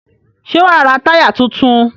Ṣé wàá ra táyà tuntun?